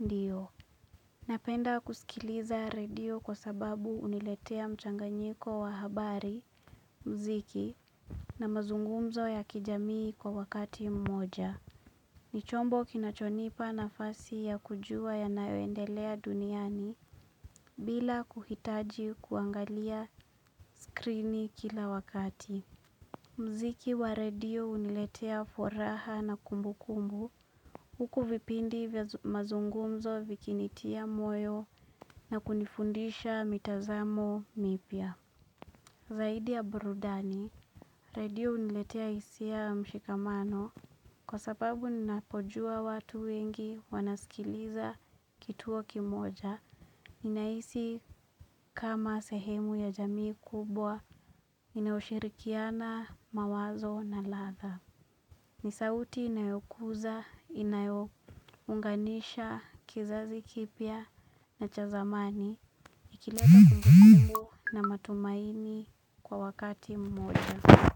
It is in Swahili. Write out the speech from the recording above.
ndio. Napenda kusikiliza redio kwa sababu huniletea mchanganyiko wa habari, muziki na mazungumzo ya kijamii kwa wakati mmoja. Ni chombo kinachonipa nafasi ya kujua yanayoendelea duniani bila kuhitaji kuangalia skrini kila wakati. Muziki wa redio huniletea furaha na kumbukumbu huku vipindi vya mazungumzo vikinitia moyo na kunifundisha mitazamo mipya. Zaidi ya burudani, redio huniletea hisia ya mshikamano kwa sababu ninapojua watu wengi wanaskiliza kituo kimoja. Ninahisi kama sehemu ya jamii kubwa, inayoshirikiana mawazo na latha. Ni sauti inayokuza, inayounganisha, kizazi kipya na cha zamani, ikileta kumbukumbu na matumaini kwa wakati mmoja.